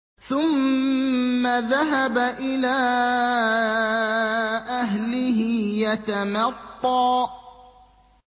ثُمَّ ذَهَبَ إِلَىٰ أَهْلِهِ يَتَمَطَّىٰ